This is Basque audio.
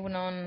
egun on